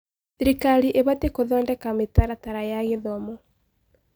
Thirikari ĩbatiĩ gũthondeka mĩtaratara ya gĩthomo.